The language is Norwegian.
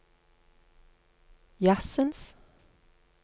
jazzens